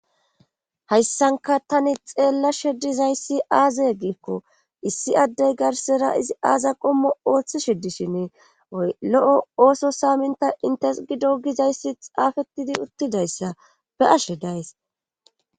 hayssanka tani xeella sheddizayssi aaza giikko issi addey garsera izi aaza qommo ooththi sheddishin oy lo7o ooso saaminta intes gido gizayssi xaafettidi uttidayssa be ashe days